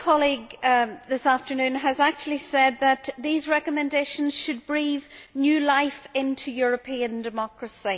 One colleague this afternoon has actually said that these recommendations should breathe new life into European democracy.